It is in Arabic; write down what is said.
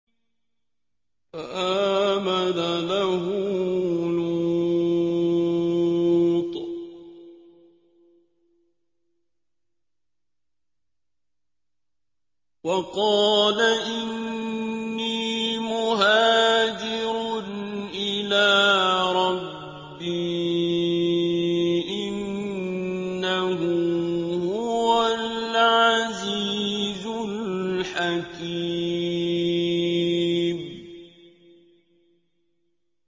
۞ فَآمَنَ لَهُ لُوطٌ ۘ وَقَالَ إِنِّي مُهَاجِرٌ إِلَىٰ رَبِّي ۖ إِنَّهُ هُوَ الْعَزِيزُ الْحَكِيمُ